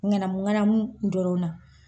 Ɲanamu ɲanamu dɔrɔn na.